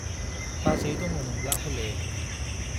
बाजै दङमोनब्ला हले